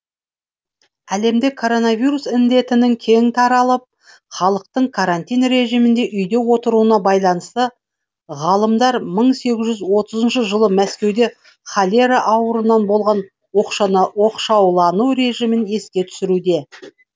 әлемде коронавирус індетінің кең таралып халықтың карантин режимінде үйде отыруына байланысты ғалымдар мың сегіз жүз отызыншы жылы мәскеуде холера ауруынан болған оқшаулану режимін еске түсіруде